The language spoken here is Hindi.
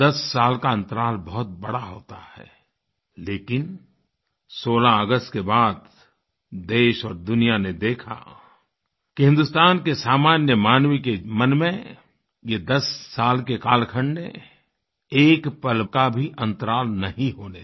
10 साल का अन्तराल बहुत बड़ा होता है लेकिन 16 अगस्त के बाद देश और दुनिया ने देखा कि हिन्दुस्तान के सामान्य मानवी मानवके मन में ये दस साल के कालखंड ने एक पल का भी अंतराल नहीं होने दिया